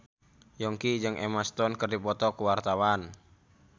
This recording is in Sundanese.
Yongki jeung Emma Stone keur dipoto ku wartawan